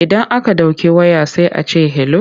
Idan aka ɗauki waya sai a ce 'hello'.